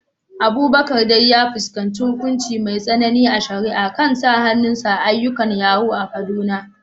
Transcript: Abubakar dai ya fuskanci hukunci mai tsanani a shari’a kan sa hannun sa a ayyukan yahoo a Kaduna.